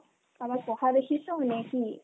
কাবাৰ পঢ়া দেখিছ নে কি ?